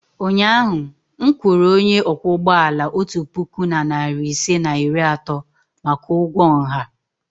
ụnyahụ m kwụrụ onye ọkwọ ụgbọ ala otu puku na narị ise na iri atọ maka ụgwọ nha.